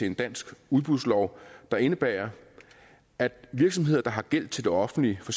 en dansk udbudslov der indebærer at virksomheder der har gæld til det offentlige for